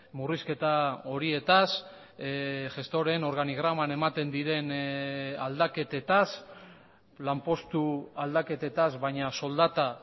murrizketa horietaz gestoreen organigraman ematen diren aldaketetaz lanpostu aldaketetaz baina soldata